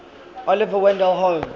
oliver wendell holmes